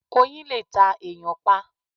Oyin lè ta èyàn pa